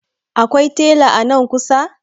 Akwai tela nan kusa?